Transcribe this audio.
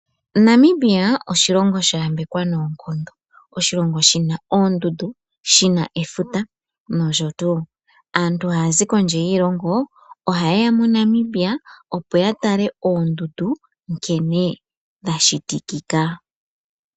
Namibia oshilongo sha yambekwa noonkondo, oshilongo shina oondundu, shina efuta noshowo. Aantu haya zi kondje yiilongo ohaye ya moNamibia, opo ya tale oondundu nkene dha shitikika.